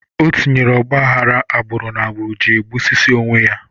Ọ tinyere ogbahara agbụrụ na agbụrụ ji egbusisi onwe ya